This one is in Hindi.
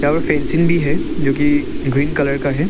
और फेंसिंग भी है जो कि ग्रीन कलर का है।